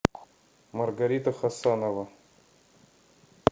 маргарита хасанова